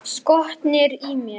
Skotnir í mér?